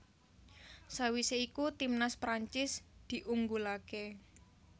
Sawisé iku timnas Prancis diunggulaké